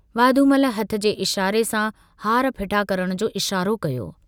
वाधूमल हथ जे इशारे सां हार फिटा करण जो इशारो कयो।